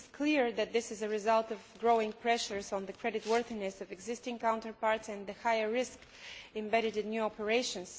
It is clear that this is a result of growing pressures on the creditworthiness of existing counterparties and the higher risk embedded in new operations.